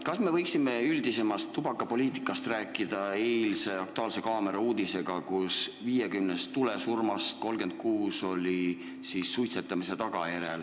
Kas me võiksime üldisemast tubakapoliitikast rääkida eilse "Aktuaalse kaamera" uudise valguses: 50 tulesurmast 36 oli põhjustatud suitsetamisest?